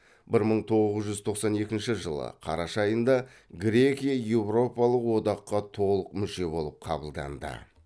бір мың тоғыз жүз тоқсан екінші жылы қараша айында грекия еуропалық одаққа толық мүше болып қабылданды